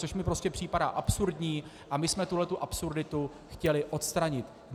Což mi prostě připadá absurdní a my jsme tuhle absurditu chtěli odstranit.